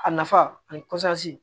A nafa ani